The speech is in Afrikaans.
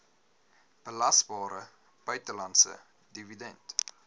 belasbare buitelandse dividend